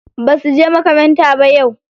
Ba suje makaranta ba yau.